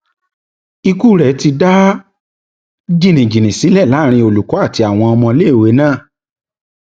ikú rẹ ti dá jìnnìjìnnì sílẹ láàrin olùkọ àti àwọn ọmọléèwé náà